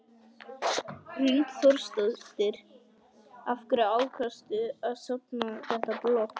Hrund Þórsdóttir: Af hverju ákvaðstu að stofna þetta blogg?